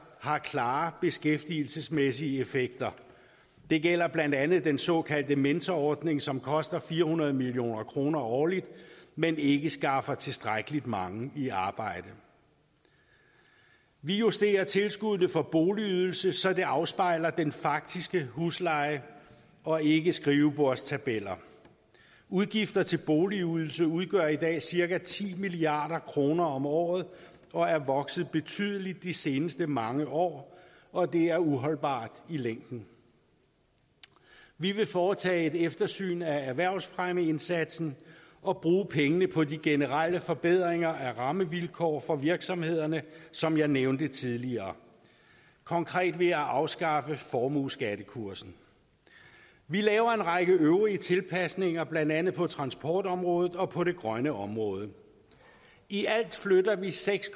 har klare beskæftigelsesmæssige effekter det gælder blandt andet den såkaldte mentorordning som koster fire hundrede million kroner årligt men ikke skaffer tilstrækkeligt mange i arbejde vi justerer tilskuddene for boligydelse så det afspejler den faktiske husleje og ikke skrivebordstabeller udgifter til boligydelse udgør i dag cirka ti milliard kroner om året og er vokset betydeligt de seneste mange år og det er uholdbart i længden vi vil foretage et eftersyn af erhvervsfremmeindsatsen og bruge pengene på de generelle forbedringer af rammevilkår for virksomhederne som jeg nævnte tidligere konkret vil jeg afskaffe formueskattekursen vi laver en række øvrige tilpasninger blandt andet på transportområdet og på det grønne område i alt flytter vi seks